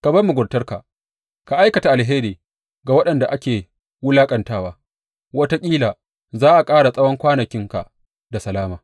Ka bar muguntarka, ka aikata alheri ga waɗanda ake wulaƙantawa, wataƙila za a ƙara tsawon kwanakinka da salama.